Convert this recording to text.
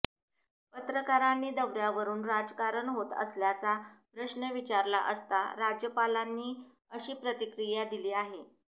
पत्रकारांनी दौऱ्यावरुन राजकारण होत असल्याचा प्रश्न विचारला असता राज्यपालांनी अशी प्रतिक्रिया दिली आहे